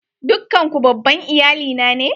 Dukkan ku babban iyali na ne?